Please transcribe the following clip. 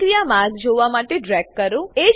પ્રતિક્રિયા માર્ગ જોવા માટે ડ્રેગ કરો